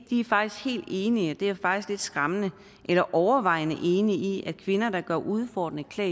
enige og det er faktisk lidt skræmmende eller overvejende enige i at kvinder der går udfordrende klædt